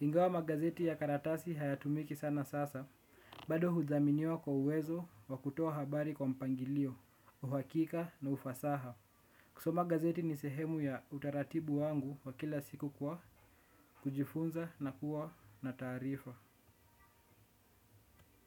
Ingawa magazeti ya karatasi hayatumiki sana sasa, bado hudhaminiwa kwa uwezo wa kutoa habari kwa mpangilio, uhakika na ufasaha. Kuso magazeti ni sehemu ya utaratibu wangu wa kila siku kwa, kujifunza na kuwa na tarifa.